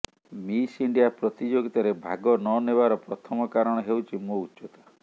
miss India ପ୍ରତିଯୋଗିତାରେ ଭାଗ ନ ନେବାର ପ୍ରଥମ କାରଣ ହେଉଛି ମୋ ଉଚ୍ଚତା